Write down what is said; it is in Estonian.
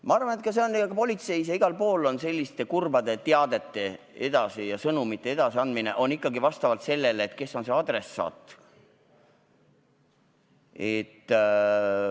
Ma arvan, et ka politseis ja igal pool mujal lähtutakse selliste kurbade teadete edasiandmisel ikkagi sellest, kes on adressaat.